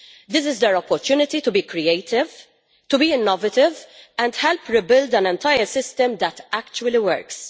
This is their opportunity to be creative and innovative, and to help rebuild an entire system that actually works.